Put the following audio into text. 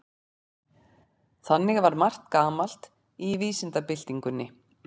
Þannig var margt gamalt í vísindabyltingunni.